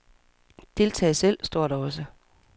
Deltag selv, står der også.